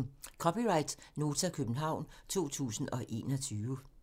(c) Nota, København 2021